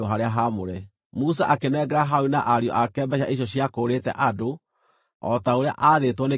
Musa akĩnengera Harũni na ariũ ake mbeeca icio ciakũũrĩte andũ, o ta ũrĩa aathĩtwo nĩ kiugo kĩa Jehova.